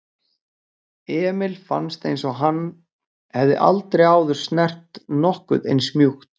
Emil fannst einsog hann hefði aldrei áður snert nokkuð eins mjúkt.